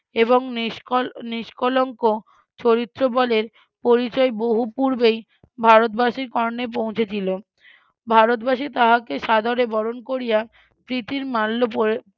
এবং ~ নিষ্কলঙ্ক চরিত্রবলের পরিচয় বহু পূর্বেই ভারতবাসীর কর্ণে পৌঁছেছিল ভারতবাসী তাহাকে সাদরে বরণ করিয়া প্রীতির মাল্য